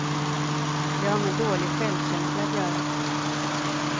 Det har med dålig självkänsla att göra.